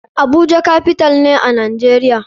Abuja capital ne a nijeria.